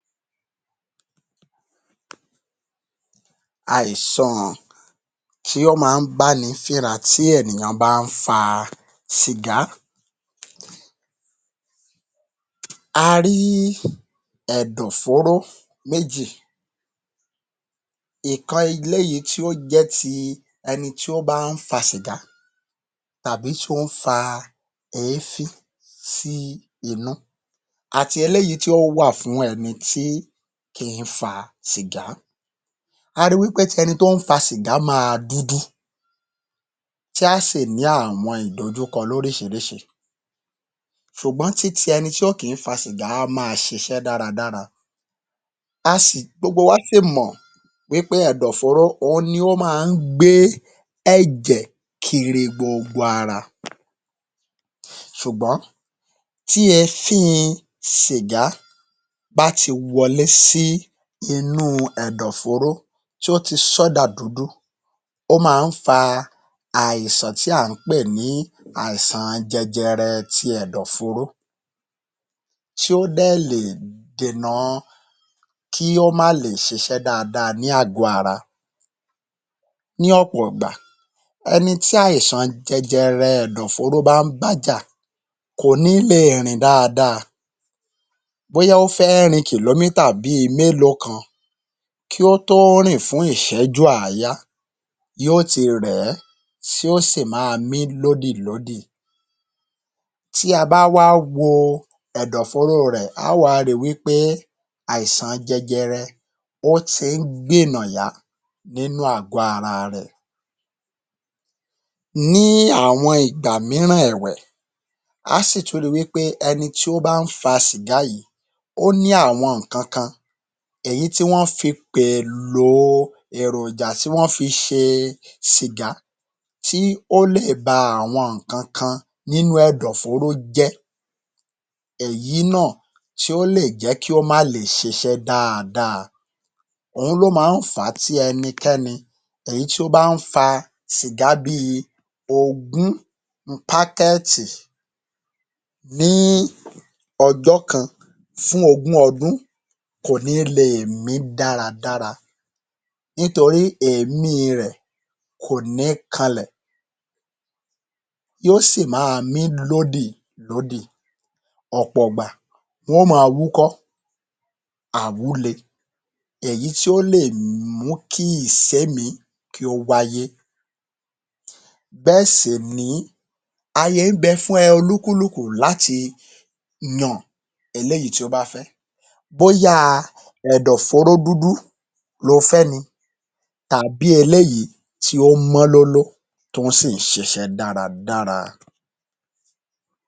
Àìsàn tí ó máa ń bá ni fínra tí ènìyàn bá ń fa sìgá. A rí ẹ̀dọ̀-fóró méjì, ìkan eléyìí tí ó jẹ́ ti ẹni tí ó bá ń fa sìgá tàbí tí ó ń fa èéfín sí inú àti eléyìí tí ó wà fún ẹni tí kìí fa sìgá. A ri wí pé ti ẹni tí ó ń fa sìgá máa dúdú tí á sì ní àwọn ìdojúkọ lóríṣiríṣi ṣùgbọ́n tí ti ẹni tí ò kí ń fa sìgá á máa ṣiṣẹ́ dáradára. Gbogbo wa sì mọ̀ pé ẹ̀dọ̀-fóóró ohun ni ó máa ń gbé ẹ̀jẹ̀ kiri gbogbo ara ṣùgbọ́n tí èéfín sìgá bá ti wọlé sí inú ẹ̀dọ̀-fóró tí ó ti sọ́ dà dúdú ó máa ń fa àìsàn tí à ń pè ní àìsàn jẹjẹrẹ ti Ẹ̀dọ̀ fóóró tí ó dẹ̀ lè dènà kí ó má lè ṣiṣẹ́ dáadáa ní àgọ́ ara ní ọ̀pọ̀ ìgbà, ẹni tí àìsàn jẹjẹrẹ ẹ̀dọ̀-fóóró bá ń bájà, kò ní le è rìn dáadáa. Bóyá ó fẹ́ rin kìlómítà bí i mélòó kan kí ó tó rìn fún ìṣẹ́jú àáyá yóò ti rẹ̀ ẹ́, tí ó sì máa mí lódìlódì, tí a bá wá wo ẹ̀dọ̀-fóóró rẹ̀ á wá ri wí pé àìsàn jẹjẹrẹ wọ́n ti ń gbènà yá nínú àgọ́-ara rẹ̀. Ní àwọn Ìgbà mìíràn ẹ̀wẹ̀, á sì tún ri wí pé ẹni tí ó bá ń fa sìgá yìí ó ní àwọn nǹkan kan èyí tí wọ́n fi pẹ̀èlò èròjà tí wọ́n fi ṣe sìgá tí ó lè ba awon nǹkan kan nínú ẹ̀dọ̀ fóóró jẹ́ tí èyí náà tí ó le è jẹ́ kí ó má le è ṣiṣẹ́ dáadáa. Ohun ni ó máa ń fà á tí ẹnikẹni èyí tí ó bá ń fa sìgá bí i ogún pákẹ́ẹ̀tì packet ní ọjọ́ kan fún ogún ọdún kò ní le è mí dáradára nítorí èémí rẹ̀ kò ní kanlẹ̀, yóò sì máa mí lódìlódì. Ọ̀pọ̀ ìgbà wọn óò máa wúkọ́ àwúle èyí tí ó lè mú kí ìsẹ́mìí kí ó wáyé bẹ́ẹ̀ sì nìyí ààyè ń bẹ fún oníkùlùkù láti yan eléyìí tí ó bá fẹ́ bóyá ẹ̀dọ̀ fóóró dúdú lo fẹ́ ni tàbí eléyìí tí ó mọ́ lóló, tí ó sì ń ṣiṣẹ́ dáradára.